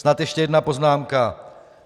Snad ještě jedna poznámka.